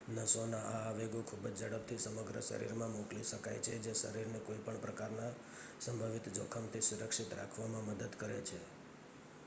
નસોના આ આવેગો ખૂબ ઝડપથી સમગ્ર શરીરમાં મોકલી શકાય છે જે શરીરને કોઈ પણ પ્રકારના સંભવિત જોખમથી સુરક્ષિત રાખવામાં મદદ કરે છે